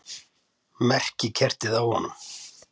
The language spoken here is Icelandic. Merkikertið á honum!